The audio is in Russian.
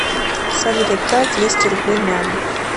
салют отправь двести рублей маме